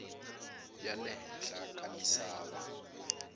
ya le henhla ka misava